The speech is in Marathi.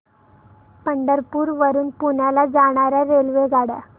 पंढरपूर वरून पुण्याला जाणार्या रेल्वेगाड्या